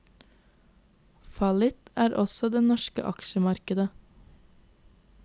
Fallitt er også det norske aksjemarkedet.